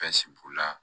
b'u la